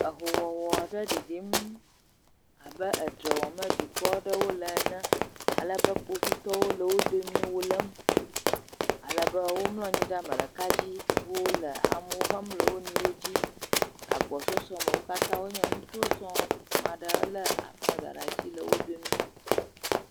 Ahowɔwɔ aɖe ɖiɖim abe edzre wɔm dukɔ aɖewo le ene alebe kpovitɔwo le wo domii, wo lém. Alebe womlɔ anyi ɖe ame ɖeka dzi, wole amewo hem le wo nɔewo dzi le gabɔsɔsɔ me. Wo katã wonye ŋutsuwo sɔŋ, amea ɖe lé aflaga ɖe asi le wo dome.